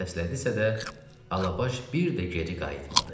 deyə səslədisə də, Alabaş bir də geri qayıtmadı.